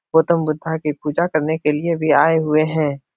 गौतम बुद्धा की पूजा करने के लिए वे आऐ हुए हैं।